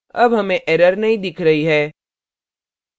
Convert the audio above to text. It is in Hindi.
अब हमें error नहीं दिख रही है